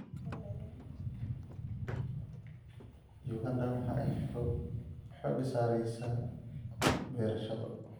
Uganda waxa ay xoogga saareysaa beerashada.